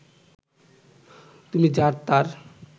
তুমি যার তার